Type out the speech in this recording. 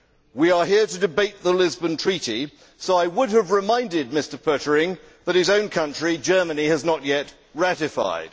We are here to debate the Lisbon Treaty so I would have reminded Mr Pöttering that his own country, Germany, has not yet ratified.